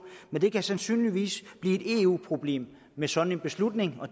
det kan sandsynligvis blive et eu problem med sådan en beslutning